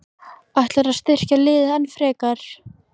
Ætlarðu að styrkja liðið enn frekar?